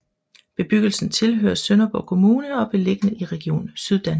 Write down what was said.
Bebyggelsen tilhører Sønderborg Kommune og er beliggende i Region Syddanmark